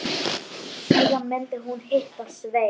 Síðan myndi hún hitta Svein.